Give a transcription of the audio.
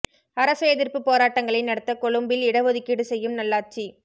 அரச எதிர்ப்பு போராட்டங்களை நடத்த கொழும்பில் இட ஒதுக்கீடு செய்யும் நல்லாட்சி